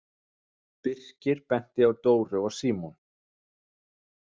Birkir benti á Dóru og Símon.